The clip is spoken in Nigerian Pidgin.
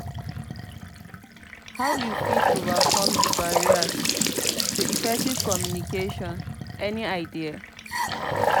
how you fit overcome di barriers to effective communication any idea?